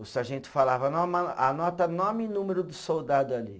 O sargento falava, anota nome e número do soldado ali.